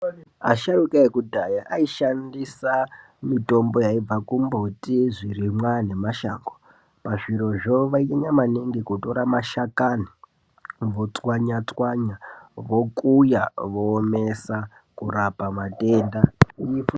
Asharuka ekudhaya aishandisa mitombo yaibva kumbuti, zvirimwa nemashango. Pazvirozvo vainyanya kutora mashakani votswanya tswanya vokuya voomesa kurapa matenda.